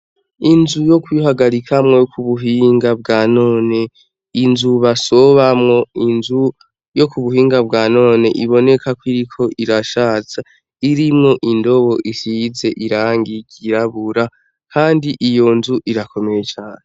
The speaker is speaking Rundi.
Inzu y'ukwiharikamwo yo k'ubuhinga bwanone, Inzu basobamwo inzu yo k'ubuhinga bwa none ibonekako iriko irashaza, irimwo indobo isize irangi ryirabura kandi iyo nzu Irakomeye cane.